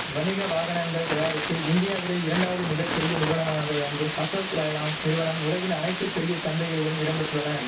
வணிக வாகனங்கள் தயாரிப்பில் இந்தியாவிலே இரண்டாவது மிக பெரிய நிறுவனமாக விளங்கும் அசோக் லைலாண் நிறுவனம் உலகின் அனைத்து பெரிய சந்தைகளிலும் இடம்பெற்றுள்ளன